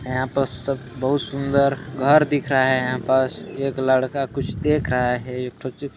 यहाँ पास सब बहुत सुंदर घर दिख रहा है यहाँ पास एक लड़का कुछ देख रहा है एक ठो ची --